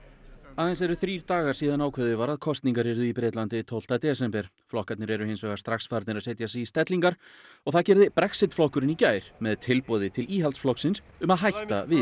aðeins eru þrír dagar síðan ákveðið var að kosningar yrðu í Bretlandi tólfta desember flokkarnir eru hins vegar strax farnir að setja sig í stellingar og það gerði Brexit flokkurinn í gær með tilboði til Íhaldsflokksins um að hætta við